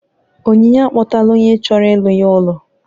Onyinye akpọtala onye chọrọ ịlụ ya ụlọ